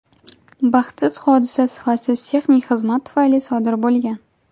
Baxtsiz hodisa sifatsiz texnik xizmat tufayli sodir bo‘lgan.